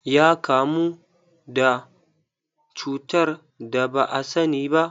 Ya kamu da cutar da ba asani ba.